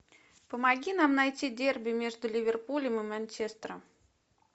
помоги нам найти дерби между ливерпулем и манчестером